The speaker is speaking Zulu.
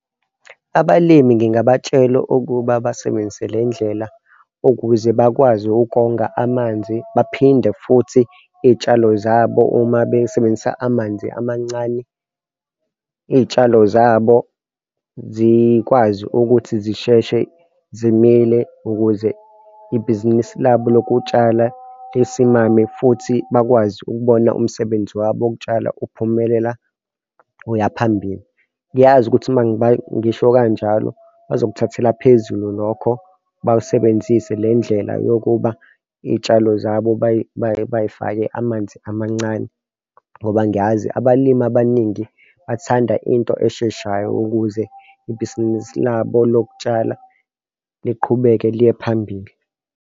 Abalimi ngingabatshela ukuba basebenzise le ndlela ukuze bakwazi ukonga amanzi, baphinde futhi iy'tshalo zabo uma besebenzisa amanzi amancane. Iy'tshalo zabo zikwazi ukuthi zisheshe zimile ukuze ibhizinisi labo lokutshala lisimame futhi bakwazi ukubona umsebenzi wabo wokutshala uphumelela uyaphambili. Ngiyazi ukuthi uma ngisho kanjalo bazokthathela phezulu lokho, bawasebenzise le ndlela yokuba iy'tshalo zabo bey'fake amanzi amancane ngoba ngiyazi abalimi abaningi bathanda into esheshayo ukuze ibhizinisi labo lokutshala liqhubeke liye phambili.